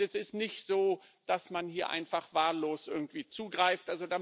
Es ist nicht so, dass man hier einfach wahllos irgendwie zugreift.